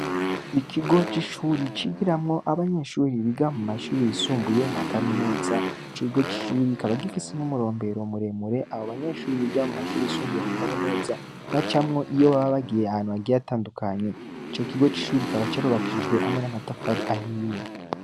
Ikigo c'ishuri, cigiramwo abanyeshuri biga mu mashuri yisumbuye nka kaminuza; ico kigo c'ishuri, kikaba gifise n'umurombero muremure, abo banyeshuri biga mu mashuri yisumbuye nka Kaminuza bacamwo, iyo baba bagiye ahantu hagiye hatandukanye; ico kigo c'ishuri kikaba carubakishijwe hamwe n'amatafari ahiye.